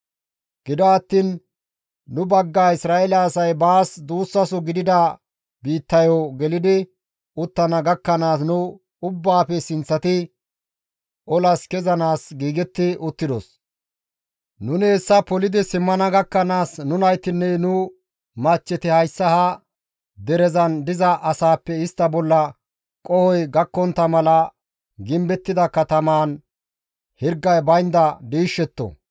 Gido attiin nu bagga Isra7eele asay baas duussaso gidida biittayo gelidi uttana gakkanaas nu ubbaafe sinththati olas kezanaas giigetti uttidos; nuni hessa polidi simmana gakkanaas nu naytinne nu machcheti hayssa ha derezan diza asaappe istta bolla qohoy gakkontta mala gimbettida katamaan hirgay baynda diishshetto.